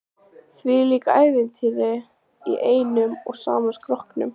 Þvílíkt ævintýri í einum og sama skrokknum.